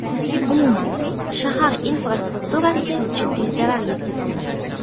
Umuman, shahar infrastrukturasiga jiddiy zarar yetkazildi.